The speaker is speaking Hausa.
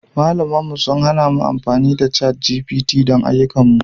Malaman mu sun hana mu amfani da ChatGPT don ayyukanmu